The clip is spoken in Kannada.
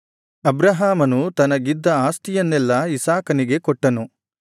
ಅಬ್ರಹಾಮನು ತನಗಿದ್ದ ಆಸ್ತಿಯನ್ನೆಲ್ಲಾ ಇಸಾಕನಿಗೆ ಕೊಟ್ಟನು